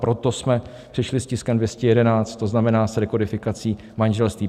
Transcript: Proto jsme přišli s tiskem 211, to znamená s rekodifikací manželství.